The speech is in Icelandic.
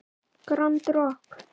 Grand Rokk.